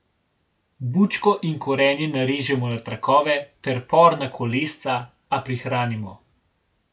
Bučko in korenje narežemo na trakove ter por na kolesca, a prihranimo.